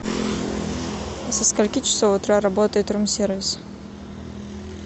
со скольки часов утра работает рум сервис